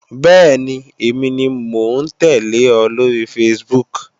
Bẹ́ẹ̀ni, èmi ni mò ń tẹ́lẹ̀ ọ lóri Facebook